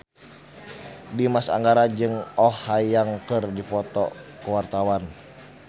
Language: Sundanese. Dimas Anggara jeung Oh Ha Young keur dipoto ku wartawan